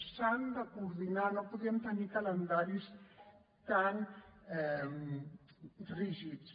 s’han de coordinar no podem tenir calendaris tan rígids